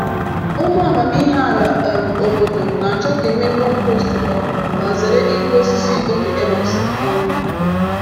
Ụmụ amamihe ala um obodo na-achọ ka e mee compost um ma zere ịkụ osisi oge e mesịrị. um